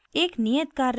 एक नियत कार्य में